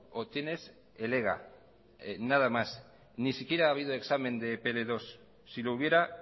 o tienes el ega nada más ni siquiera ha habido examen de pl dos si lo hubiera